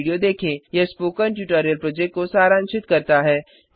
httpspoken tutorialorgWhat is a Spoken Tutorial यह spoken tutorial project को सारांशित करता है